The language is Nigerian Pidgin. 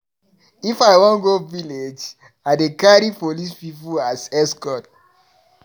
If I wan go village, I dey carry police pipu as escort.